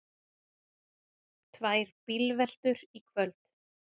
Tvær bílveltur í kvöld